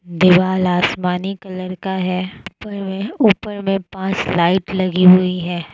दिवाल आसमानी कलर का है ऊपर में ऊपर में पांच लाइट लगी हुई है।